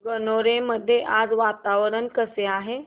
गणोरे मध्ये आज वातावरण कसे आहे